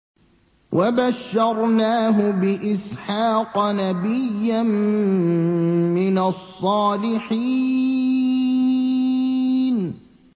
وَبَشَّرْنَاهُ بِإِسْحَاقَ نَبِيًّا مِّنَ الصَّالِحِينَ